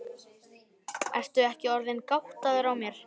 Ertu ekki orðinn gáttaður á mér.